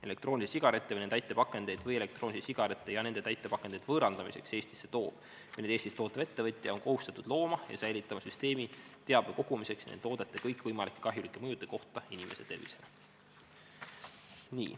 Elektroonilisi sigarette või nende täitepakendeid või elektroonilisi sigarette ja nende täitepakendeid võõrandamiseks Eestisse toov või neid Eestis tootev ettevõtja on kohustatud looma ja säilitama süsteemi teabe kogumiseks nende toodete kõikvõimalike kahjulike mõjude kohta inimese tervisele.